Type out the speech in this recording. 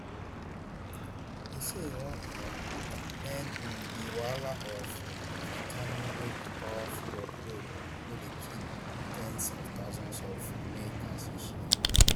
e say e wan um end um di wahala of fentanyl wey be powerful opioid wey dey kill ten s of thousands of americans each year